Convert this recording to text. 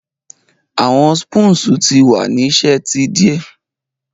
Awọn spoons ti wa ni ṣe ti idẹ